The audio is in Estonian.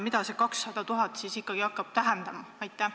Mida see 200 000 siis ikkagi hakkab tähendama?